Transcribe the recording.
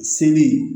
Seli